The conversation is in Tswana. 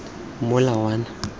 molawana